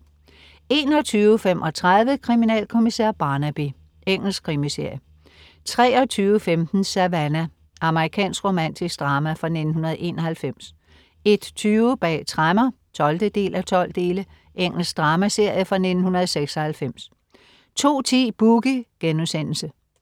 21.35 Kriminalkommissær Barnaby. Engelsk krimiserie 23.15 Savannah. Amerikansk romantisk drama fra 1991 01.20 Bag tremmer 12:12. Engelsk dramaserie fra 1996 02.10 Boogie*